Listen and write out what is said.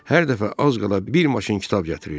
Hər dəfə az qala bir maşın kitab gətirirdi.